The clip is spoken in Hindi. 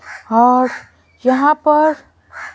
और यहां पर--